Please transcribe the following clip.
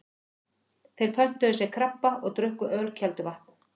Þeir pöntuðu sér krabba og drukku ölkelduvatn.